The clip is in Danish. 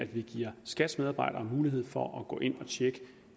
vi giver skats medarbejdere mulighed for at gå ind og tjekke